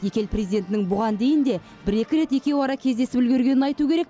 екі ел президентінің бұған дейін де бір екі рет екеуара кездесіп үлгергенін айту керек